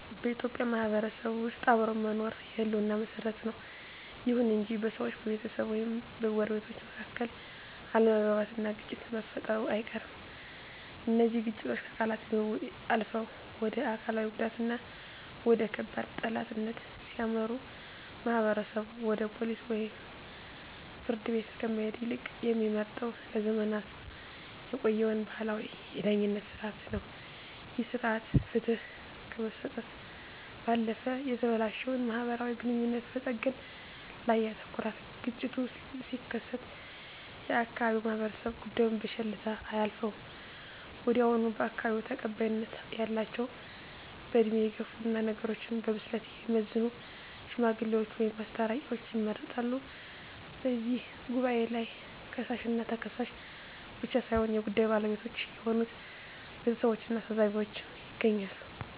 በኢትዮጵያ ማህበረሰብ ውስጥ አብሮ መኖር የህልውና መሰረት ነው። ይሁን እንጂ በሰዎች፣ በቤተሰብ ወይም በጎረቤቶች መካከል አለመግባባትና ግጭት መፈጠሩ አይቀርም። እነዚህ ግጭቶች ከቃላት ልውውጥ አልፈው ወደ አካላዊ ጉዳትና ወደ ከባድ ጠላትነት ሲያመሩ፣ ማህበረሰቡ ወደ ፖሊስ ወይም ፍርድ ቤት ከመሄድ ይልቅ የሚመርጠው ለዘመናት የቆየውን ባህላዊ የዳኝነት ሥርዓት ነው። ይህ ሥርዓት ፍትህ ከመስጠት ባለፈ የተበላሸውን ማህበራዊ ግንኙነት በመጠገን ላይ ያተኩራል። ግጭቱ ሲከሰት የአካባቢው ማህበረሰብ ጉዳዩን በቸልታ አያልፈውም። ወዲያውኑ በአካባቢው ተቀባይነት ያላቸው፣ በዕድሜ የገፉና ነገሮችን በብስለት የሚመዝኑ "ሽማግሌዎች" ወይም "አስታራቂዎች" ይመረጣሉ። በዚህ ጉባኤ ላይ ከሳሽና ተከሳሽ ብቻ ሳይሆኑ የጉዳዩ ባለቤቶች የሆኑት ቤተሰቦችና ታዘቢዎችም ይገኛሉ።